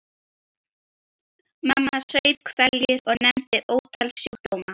Mamma saup hveljur og nefndi ótal sjúkdóma.